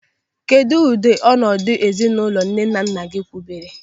Kedụ ụdị ọnọdụ ezinụlọ nne na nna gị wubere?